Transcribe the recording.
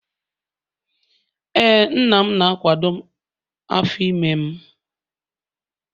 Ee, nna m na-akwado afọ ime m